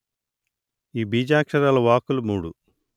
ఈ బీజాక్షరాల వాక్కులు మూడు